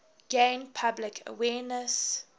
gain public awareness